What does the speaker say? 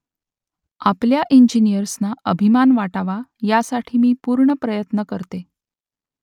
आपल्या इंजिनियर्सना अभिमान वाटावा यासाठी मी पूर्ण प्रयत्न करते